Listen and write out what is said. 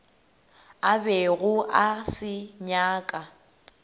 a bego a se nyaka